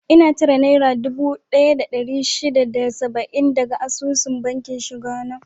Ina cire naira dubu daya da dari shida da saba'in daga asusun bankin shiga na